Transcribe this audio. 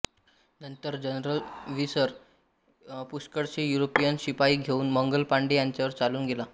नंतर general Hearsey पुष्कळसे European शिपाई घेऊन मंगल पांडे यांच्यावर चालून गेला